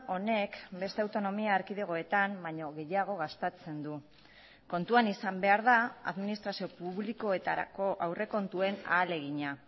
honek beste autonomia erkidegoetan baino gehiago gastatzen du kontuan izan behar da administrazio publikoetarako aurrekontuen ahalegina